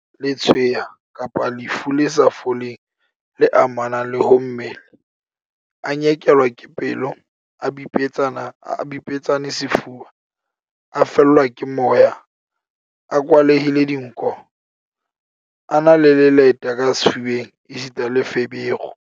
Letshweya kapa lefu le sa foleng le amanang le ho mmele, a nyekelwa ke pelo, a bipetsane sefuba, a fellwa ke moya, a kwalehile dinko, a na le leleta ka sefubeng esita le feberu.